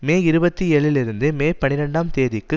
மே இருபத்தி ஏழில் இருந்து மே பனிரெண்டாம் தேதிக்கு